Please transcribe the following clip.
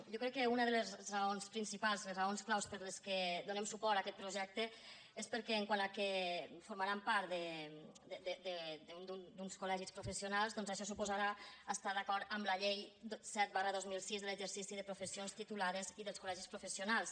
jo crec que una de les raons principals de les raons clau per les quals donem suport a aquest projecte és perquè com que formaran part d’uns col·legis professionals doncs això suposarà estar d’acord amb la llei set dos mil sis d’exercici de professions titulades i dels col·legis professionals